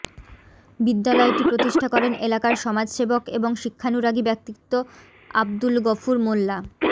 বিদ্যালয়টি প্রতিষ্ঠা করেন এলাকার সমাজ সেবক এবং শিক্ষানূরাগী ব্যক্তিত্ব আব্দুল গফুর মোল্লা